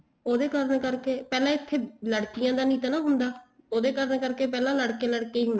ਉਹਦੇ ਕਰਨਾ ਕਰਕੇ ਪਹਿਲਾਂ ਇੱਥੇ ਲੜਕੀਆਂ ਦਾ ਨਹੀਂ ਤਾਂ ਹੁੰਦਾ ਉਹਦੇ ਕਾਰਨਾਂ ਕਰਕੇ ਪਹਿਲੇ ਲੜਕੇ ਲੜਕੇ ਹੀ ਹੁੰਦੇ